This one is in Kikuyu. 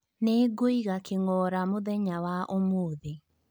Nĩngũiga king'oora mũthenya wa ũmuthi